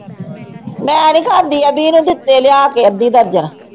ਮੈਂ ਨੀ ਖਾਂਦੀ ਅਬੀ ਨੂੰ ਦਿੱਤੇ ਲਿਆ ਕੇ ਅੱਧੀ ਦਰਜਨ।